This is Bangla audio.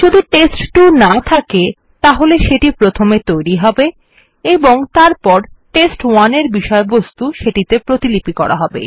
যদি টেস্ট2 না থকে তাহলে এটা প্রথমে তৈরী হবে এবং তারপর টেস্ট1 এর বিষয়বস্তু সেটি তে প্রতিলিপি করা হবে